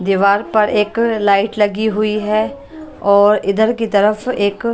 दीवार पर एक लाइट लगी हुई है और इधर की तरफ एक --